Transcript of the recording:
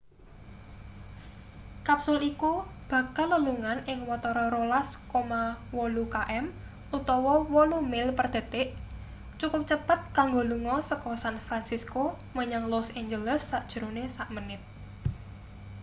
kapsul iku bakal lelungan ing watara 12,8 km utawa 8 mil per detik cukup cepet kanggo lunga seka san fransisco menyang los angeles sajerone samenit